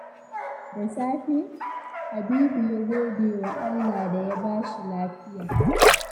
Da safe, Habibu ya gode wa Allah da ya ba shi lafiya.